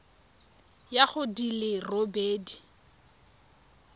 ya go di le robedi